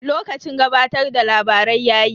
Lokacin gabatar da labarai yayi.